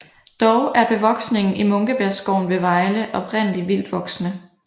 Dog er bevoksningen i Munkebjergskoven ved Vejle oprindeligt vildtvoksende